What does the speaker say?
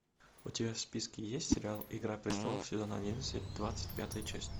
у тебя в списке есть сериал игра престолов сезон одиннадцать двадцать пятая часть